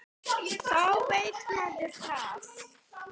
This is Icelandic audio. Þá veit maður það.